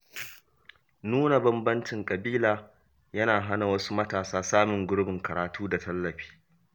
Nuna bambancin ƙabila yana hana wasu matasa samun gurbin karatu da tallafi.